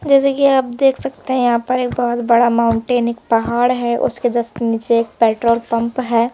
जैसे कि आप देख सकते हैं यहां पर एक बहुत बड़ा माउंटेन एक पहाड़ है उसके जस्ट नीचे एक पेट्रोल पंप है।